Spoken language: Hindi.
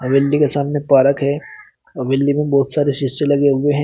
बिल्डिंग के सामने पार्क है और बिल्डिंग में बहुत सारे शीशे लगे हुए है।